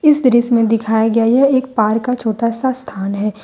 इस दृश्य में दिखाया गया यह एक पार्क का छोटा सा स्थान है।